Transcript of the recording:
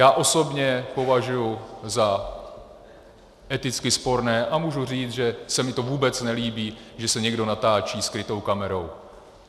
Já osobně považuji za eticky sporné, a můžu říct, že se mi to vůbec nelíbí, že se někdo natáčí skrytou kamerou.